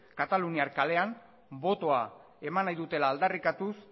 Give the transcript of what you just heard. kataluniar kalean botoa eman nahi dutela aldarrikatuz